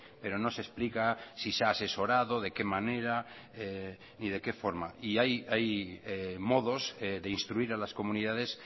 pero no se explica si se ha asesorado de qué manera ni de qué forma y hay modos de instruir a las comunidades